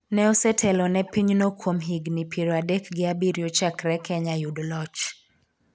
ne osetelo ne pinyno kuom higni piero adek gi abiriyo chakre kenya yud loch